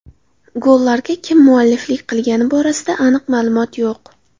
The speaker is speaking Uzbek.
Gollarga kim mualliflik qilgani borasida aniq ma’lumot yo‘q.